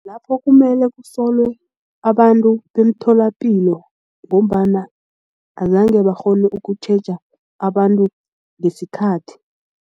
Lapho kumele kusolwe abantu bemtholapilo ngombana azange bakghone ukutjheja abantu ngesikhathi.